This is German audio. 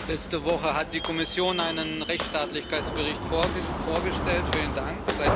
Letzte Woche hat die Kommission einen Rechtsstaatlichkeitsbericht vorgestellt, vielen Dank!